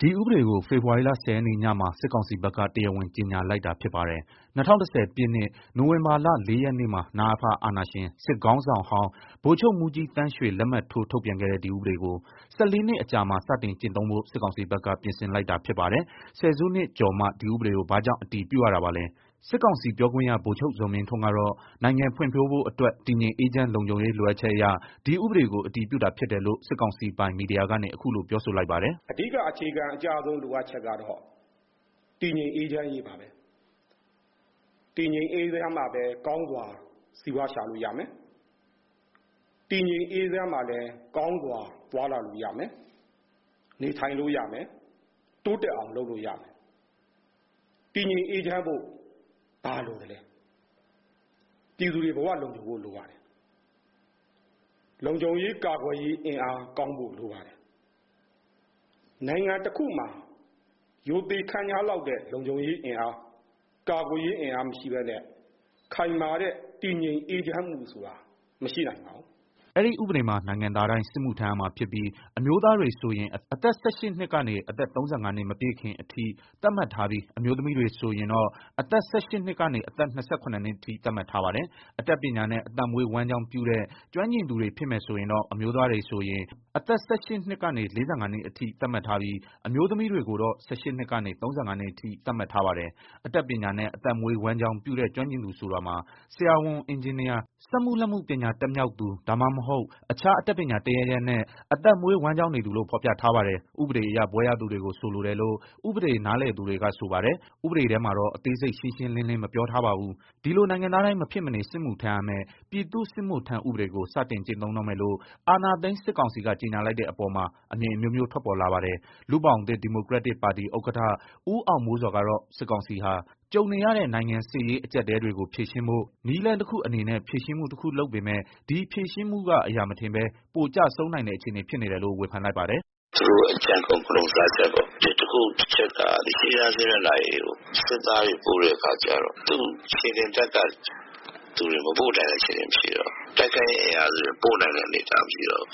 ဒီဥပဒေကို ဖေဖော်ဝါရီလ ၁၀ ရက်နေ့ညမှာ စစ်ကောင်စီကတရားဝင် ကြေညာလိုက်တာဖြစ်ပါတယ်။ ၂၀၁၀ ပြည့်နှစ် နိုဝင်ဘာလ ၄ ရက်နေ့မှာ နအဖ အာဏာရှင်စစ်ခေါင်းဆောင်ဟောင်း ဗိုလ်ချုပ်မှူးကြီးသန်းရွှေ လက်မှတ်ထိုးထုတ်ပြန်ခဲ့တဲ့ ဒီဥပဒေကို ၁၄နှစ်အကြာမှ စတင်ကျင့် သုံးဖို့ စစ်ကောင်စီကပြင်ဆင်လိုက်တာဖြစ်ပါတယ်။ ဆယ်စုနှစ်ကျော်မှ ဒီဥပဒေကိုဘာကြောင့်အတည်ပြုရတာပါလဲ။ စစ်ကောင်စီပြောခွင့်ရဗိုလ်ချုပ်ဇော်မင်းထွန်းကတော့ နိုင်ငံဖွံ့ဖြိုးဖို့အတွက် တည်ငြိမ်အေး ချမ်းလုံခြုံရေးလိုအပ်ချက်အရ ဒီဥပဒေကို အတည်ပြုတာဖြစ်တယ်လို့ စစ်ကောင်စီပိုင်မီဒီယာကနေ ခုလိုပြောဆိုလိုက်ပါတယ်။ "နိုင်ငံတော်ဖွံ့ဖြိုးတိုးတက်ဖို့ဆိုရင် ဘာလိုပါသလဲ။ အဓိကအခြေခံအကျဆုံးလိုအပ်ချက်ကတော့တည်ငြိမ်အေးချမ်းရေးပါ။ တည်ငြိမ်းအေးချမ်းမှ ကောင်းစွာစီးပွားရှာလို့ရပါမယ်။ တည်ငြိမ်အေးချမ်းမှ ကောင်းစွာသွားလာလို့ရမယ်။ နေထိုင်လို့ရ မယ်။ တိုးတက်အောင် လုပ်လို့ရမယ်။ တည်ငြိမ်အေးချမ်းဖို့ဘာလိုပါလဲ။ ပြည်သူတွေဘဝလုံခြုံဖို့လိုပါတယ်။ လုံခြုံရေးကာကွယ်ရေးအင်အားကောင်းဖို့လိုပါတယ်။ နိုင်ငံတခုမှာ ရိုသေခန့်ညားလောက်တဲ့ လုံခြုံရေးအင်အားကာကွယ်ရေးအင်အားမရှိဘဲနဲ့ ခိုင်မာတဲ့တည်ငြိမ် အေးချမ်းမှုမရှိနိုင်ပါဘူး။" အဲဒီဥပဒေမှာ နိုင်ငံသားတိုင်း စစ်မှုထမ်းရမှာဖြစ်ပြီး အမျိုးသားတွေဆိုရင် အသက် ၁၈ နှစ်ကနေ အသက် ၃၅ နှစ်မပြည့်ခင်အထိ သတ်မှတ်ထားပြီး အမျိုးသမီးတွေဆိုရင် အသက် ၁၈ နှစ်ကနေအသက် ၂၇ နှစ် အထိ သတ်မှတ်ထားပါတယ်။ အတတ်ပညာနဲ့ အသက်မွေးဝမ်း ကျောင်း ပြုတဲ့ ကျွမ်းကျင်သူတွေဖြစ်မယ်ဆိုရင်တော့ အမျိုးသားတွေဆိုရင် အသက် ၁၈ နှစ်ကနေ ၄၅ နှစ်အထိ သတ်မှတ်ထားပြီး အမျိုးသမီးတွေကိုတော့ ၁၈ နှစ်ကနေ ၃၅ နှစ်အထိ သတ်မှတ်ထားပါတယ်။ အတတ်ပညာနဲ့ အသက်မွေးဝမ်း ကျောင်း ပြုတဲ့ ကျွမ်းကျင်သူ ဆိုတာမှာ ဆရာဝန်၊ အင်ဂျင်နီယာ၊ စက်မှုလက်မှုပညာတတ်မြောက်သူ ဒါမှမဟုတ် အခြားအတတ်ပညာတစ်ရပ်ရပ်နဲ့ အသက်မွေးဝမ်းကျောင်းနေသူလို့ ဖော်ပြထားတာပါ။ ဥပဒေအရ ဘွဲ့ရသူတွေကို ဆိုလိုတယ်လို့ ဥပဒေနားလည်သူတွေကဆိုပါတယ်။ ဥပဒေထဲမှာတော့ အသေးစိတ်ရှင်းရှင်းလင်းလင်းမပြောထားပါဘူး။ ဒီလို နိုင်ငံသားတိုင်း မဖြစ်မနေ စစ်မှုထမ်းရမဲ့ ပြည်သူ့စစ်မှုထမ်းဥပဒေကို စတင်ကျင့်သုံးတော့မယ်လို့ အာဏာသိမ်းစစ်ကောင်စီက ကြေငြာလိုက်တဲ့အပေါ်မှာ အမြင်အမျိုးမျိုးထွက်ပေါ်လာပါတယ်။ လူ့ဘောင်သစ် ဒီမိုကရက်တစ်ပါတီ ဥက္ကဋ္ဌ ဦးအောင်မိုးဇော်ကတော့ စစ်ကောင်စီဟာ ကြုံနေရတဲ့ နိုင်ငံစစ်ရေးအကျပ်အတည်းတွေကို ဖြေရှင်းဖို့ နည်းလမ်းတခုအနေနဲ့ ဖြေရှင်းမှုတခုလုပ်ပေမယ့် ဒီဖြေရှင်းမှုကအရာမထင်ဘဲ ပိုကျဆုံးနိုင်တဲ့အခြေအနေဖြစ်နေတယ်လို့ ဝေဖန်လိုက်ပါတယ်။ "သူတို့အကြံကုန် ဂဠုန်ဆားချက်ပေါ့။ တခုက ရှေ့တန်းစစ်မျက်နှာပြင်ကိုသူတို့ စစ်သားပို့တာကျတော့ ခြေလျင်တပ်ကလူတွေကိုပို့နိုင်တာမရှိတော့ဘူး။ တိုက်ခိုက်ရေးအင်အားစုတွေကိုပို့နိုင်တဲ့အနေအထားမရှိတော့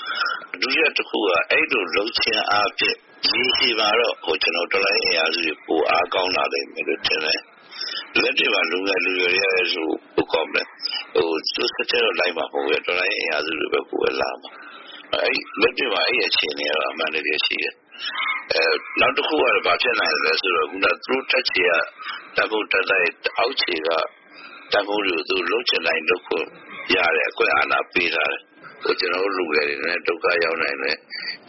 ဘူး။ ဒုတိယတခုကအဲလိုလုပ်ခြင်းအားဖြင့် ရေရှည်မှာတော်လှန်ရေးအင်အားစုတွေပိုအားကောင်းလာမယ်ထင်တယ်။ လက်တွေ့မှာလူငယ်လူရွယ်တွေလည်း သူတို့စစ်ထဲတော့မဝင်ဘဲ တော်လှန်ရေးအင်အားစုတွေထဲဘဲလာမှာ။ လက်တွေ့မှာအဲအခြေအနေအမှန်တကယ်ရှိတယ်။ နောက်တခုကတော့သူတို့တပ်က အောက်ခြေက လုပ်ချင်တိုင်းလုပ်ခွင့်ပေးနေတဲ့ အခွင့်အာဏာတွေပေးထားတယ်။ ဒီတော့ ကျနော်တို့လူငယ်တွေ ဒုက္ခတော့ရောက်မယ် ဒါပေမယ့်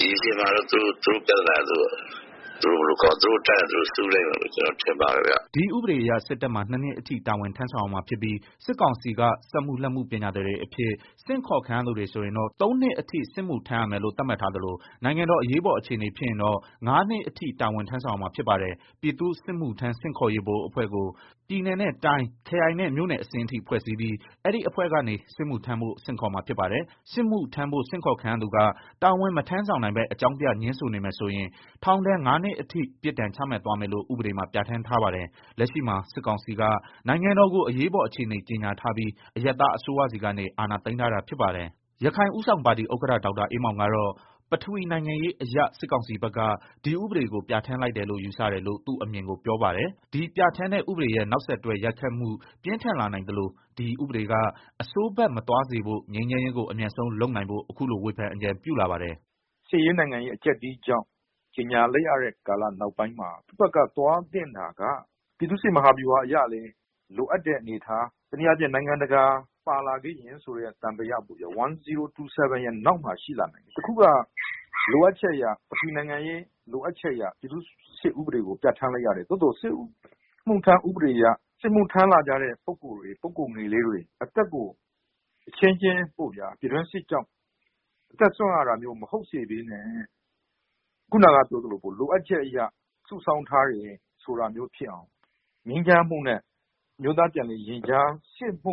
ရေရှည်မှာတော့ သူတို့အတတ်နဲ့သူတို့ စူးလိမ့်မယ်လို့ထင်ပါတယ်။" ဒီဥပဒေအရ စစ်တပ်မှာ နှစ်နှစ်အထိ တာဝန်ထမ်းဆောင်ရမှာဖြစ်ပြီး စစ်ကောင်စီက စက်မှုလက်မှုပညာသည်တွေအဖြစ် ဆင့်ခေါ်ခံရသူတွေဆိုရင်တော့ သုံးနှစ်အထိ စစ်မှုထမ်းရမယ်လို့သတ်မှတ်ထားသလို နိုင်ငံတော်အရေးပေါ် အခြေအနေဖြစ်ရင်တော့ ငါးနှစ်အထိ တာဝန်ထမ်းဆောင်ရမှာဖြစ်ပါတယ်။ ပြည်သူ့စစ်မှုထမ်း ဆင့်ခေါ်ရေး ဗဟိုအဖွဲ့ကို ပြည်နယ်နဲ့တိုင်း၊ ခရိုင်နဲ့ မြို့နယ်အဆင့်အထိ ဖွဲ့စည်းပြီး အဲဒီအဖွဲ့ကနေ စစ်မှုထမ်းဖို့ ဆင့်ခေါ်မှာဖြစ်ပါတယ်။ စစ်မှုထမ်းဖို့ ဆင့်ခေါ်ခံရသူက တာဝန်မထမ်းဆောင်ဘဲ အကြောင်းပြငြင်းဆိုနေမယ်ဆိုရင် ထောင်ဒဏ် ငါးနှစ်အထိ ပြစ်ဒဏ်ချမှတ်သွားမယ်လို့ ဥပဒေမှာ ပြဋ္ဌာန်းထားပါတယ်။ လက်ရှိမှာစစ်ကောင်စီက နိုင်ငံတော်ကို အရေးပေါ် အခြေအနေ ကြေညာထားပြီး အရပ်သားအစိုးရဆီကနေ အာဏာသိမ်းထားတာဖြစ်ပါတယ်။ ရခိုင်ဦးဆောင်ပါတီဥက္ကဋ္ဌ ဒေါက်တာအေးမောင်ကတော့ ပထဝီနိုင်ငံရေးအရ စစ်ကောင်စီက ဒီဥပဒေကိုပြဌာန်းလိုက်တယ်လို့ ယူဆတယ်လို့ သူ့အမြင်ကိုပြောပါတယ်။ ဒီပြဌာန်းတဲ့ ဥပဒေရဲ့ နောက်ဆက်တွဲရိုက်ခတ်မှု ပြင်းထန်လာနိုင်သလို ဒီဥပဒေက အဆိုးဘက်မသွားစေဖို့ ငြိမ်းချမ်းရေးကိုအမြန်ဆုံးလုပ်နိုင်ဖို့ အခုလိုဝေဖန်အကြံပြုလာပါတယ်။ "စစ်ရေးနိုင်ငံရေးအကျပ်အတည်းကြောင့် ကြေငြာရတဲ့နောက်ပိုင်းမှာ စစ်တပ်ကသွားသင့်တာကပြည်သူ့စစ်မဟာဗျူဟာအရလည်း ပြည်သူ့စစ်အနေနဲ့လိုအပ်တဲ့ အနေအထား တနည်းအားဖြင့် နိုင်ငံတကာ ပါလာခဲ့ရင်ဆိုတဲ့သံသယ အဲ ၁၀၂၇ နောက်ကွယ်မှာ ရှိလာနိုင်တယ်။ အဲတော့ပထဝီနိုင်ငံရေးလိုအပ်ချက်အရ ဒီဥပဒေကိုပြဌာန်းရတယ်။ ဒီဥပဒေအရ စစ်မှုထမ်းလာမယ့် ပုဂ္ဂိုလ်တွေအသက်ကို အချင်းချင်း ပြည်တွင်းစစ်ကြောင့် အသက်စွန့်ရတာမဟုတ်စေဘဲနဲ့ လိုအပ်ချက်အရစုဆောင်းထားတာဖြစ်အောင် ငြိမ်းချမ်းမှုနဲ့ အမျိုးသား ပြန်လည်ရင်ကြားစေ့မှု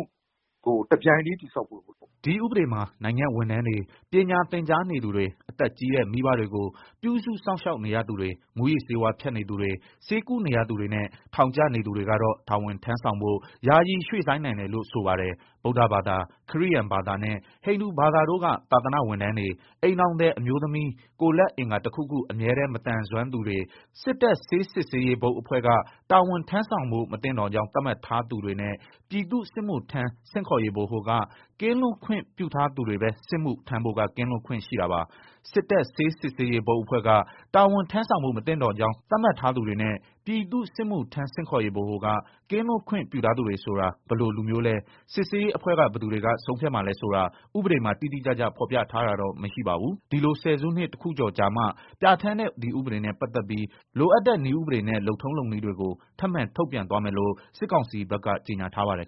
ကို တပြိုင်ထဲတည်ဆောက်ဖို့လိုပါတယ်။" ဒီဥပဒေမှာ နိုင်ငံ့ဝန်ထမ်းတွေ၊ ပညာသင်ကြားနေသူတွေ၊ အသက်ကြီးတဲ့မိဘတွေကို ပြုစုစောင့်ရှောက်နေရသူတွေ၊ မူးယစ်ဆေးဝါးဖြတ်နေသူတွေ၊ ဆေးကုနေရသူတွေနဲ့ ထောင်ကျနေသူတွေကတော့ တာဝန်ထမ်းဆောင်ဖို့ ယာယီရွှေ့ဆိုင်းနိုင်တယ်လို့ ဆိုပါတယ်။ ဗုဒ္ဓဘာသာ၊ ခရစ်ယာန်ဘာသာနဲ့ ဟိန္ဒူဘာသာတို့က သာသနာ့ဝန်ထမ်းတွေ၊ အိမ်ထောင်သည်အမျိုးသမီး၊ ကိုယ်လက်အင်္ဂါတစ်ခုခုအမြဲတမ်းမသန်စွမ်းသူတွေ၊ စစ်တပ်ဆေးစစ်ဆေးရေး ဘုတ်အဖွဲ့က တာဝန်ထမ်းဆောင်ဖို့မသင့်တော်ကြောင်း သတ်မှတ်ထားသူတွေနဲ့ ပြည်သူ့စစ်မှုထမ်းဆင့်ခေါ်ရေးဗဟိုက ကင်းလွတ်ခွင့်ပြုထားသူတွေပဲ စစ်မှုထမ်းဖို့က ကင်းလွတ်ခွင့်ရှိတာပါ။ စစ်တပ်ဆေးစစ်ဆေးရေးဘုတ်အဖွဲ့က တာဝန်ထမ်းဆောင်ဖို့မသင့်တော်ကြောင်း သတ်မှတ်ထားသူတွေနဲ့ ပြည်သူ့စစ်မှုထမ်းဆင့်ခေါ်ရေးဗဟိုက ကင်းလွတ်ခွင့်ပြုထားသူတွေ ဆိုတာ ဘယ်လိုလူမျိုးလဲ စစ်ဆေးရေးအဖွဲ့ကဘယ်သူတွေက ဆုံးဖြတ်မှာလဲဆိုတာ ဥပဒေမှာ တိတိကျကျ ဖော်ပြထားတာတော့မရှိပါဘူး။ ဒီလိုဆယ်စုနှစ်တခုကျော်အကြာမှ ပြဌာန်းတဲ့ ဒီဥပဒေနဲ့ ပတ်သက်ပြီး လိုအပ်တဲ့ နည်းဥပဒေနဲ့ လုပ်ထုံးလုပ်နည်းတွေကို ထပ်မံထုတ်ပြန်သွားမယ်လို့ စစ်ကောင်စီက ကြေညာထားပါတယ်